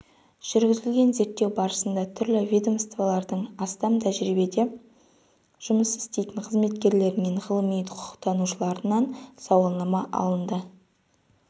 жүргізілген зерттеу барысында түрлі ведомстволардың астам тәжірибеде жұмыс істейтін қызметкерлерінен ғалым-құқықтанушыларынан сауалнама алынды